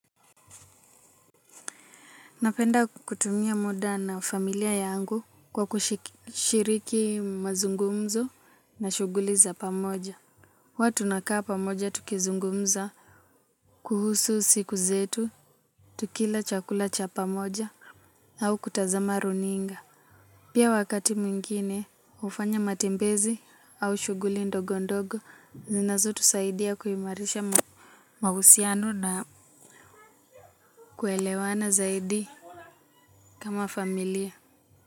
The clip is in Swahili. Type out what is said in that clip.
Napenda kutumia muda na familia yangu kwa kushiriki mazungumzo na shuguli za pamoja. Huwa tunakaa pamoja tukizungumza kuhusu siku zetu, tukila chakula cha pamoja au kutazama runinga. Pia wakati mwingine hufanya matembezi au shuguli ndogo ndogo zinazotusaidia kuimarisha mahusiano na kuelewana zaidi kama familia.